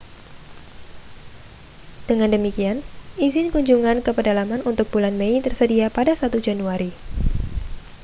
dengan demikian izin kunjungan ke pedalaman untuk bulan mei tersedia pada 1 januari